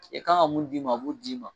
I kan ka mun d'i ma a b'o d'i ma.